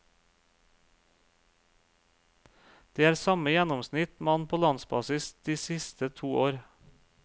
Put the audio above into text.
Det er samme gjennomsnitt man på landsbasis de siste to år.